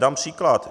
Dám příklad.